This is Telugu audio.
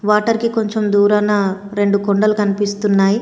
వాటర్ కి కొంచెం దూరన రెండు కొండలు కనిపిస్తున్నాయ్.